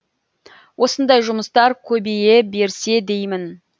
осындай жұмыстар көбей берсе деймін